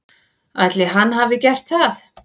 Ætli hann hafi gert það?